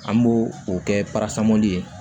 An b'o o kɛ parasamɔli ye